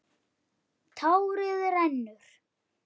Tárið rennur.